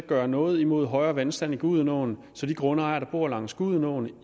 at gøre noget imod højere vandstand i gudenåen så de grundejere der bor langs gudenåen